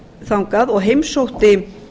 þangað og heimsótti